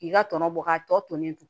K'i ka tɔnɔ bɔ k'a tɔ tolen to